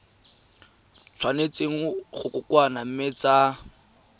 tshwanetse go kokoanngwa mme tsa